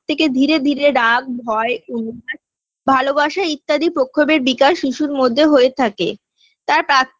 থেকে দূরে দূরে রাগ ভয় অনুভব ভালোবাসা ইত্যাদি প্রক্ষোভের বিকাশ শিশুর মধ্যে হয়ে থাকে তাঁ প্রাথ~